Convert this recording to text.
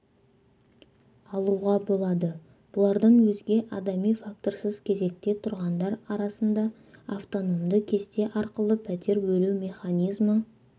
алуға болады бұлардан өзге адами факторсыз кезекте тұрғандар арасында автономды кесте арқылы пәтер бөлу механизмі